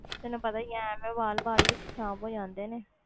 ਤੈਨੂੰ ਪਤਾ ਹੀ ਹੈ ਐਵੇਂ ਵਾਲ ਬਾਅਦ ਵਿੱਚ ਖ਼ਰਾਬ ਹੋ ਜਾਂਦੇ ਨੇ।